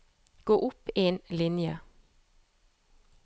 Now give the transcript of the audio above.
Gå opp en linje